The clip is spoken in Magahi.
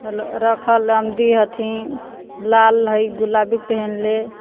रखल लमदी हथिन लाल है गुलाबी पहेनले।